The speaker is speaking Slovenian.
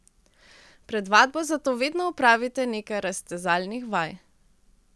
Pred vadbo zato vedno opravite nekaj raztezalnih vaj.